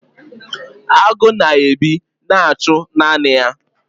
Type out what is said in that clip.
agụ na-ebi na-achụ naanị ya.